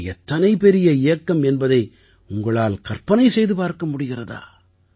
இது எத்தனை பெரிய இயக்கம் என்பதை உங்களால் கற்பனை செய்து பார்க்க முடிகிறதா